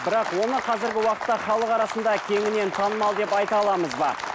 бірақ оны қазіргі уақытта халық арасында кеңінен танымал деп айта аламыз ба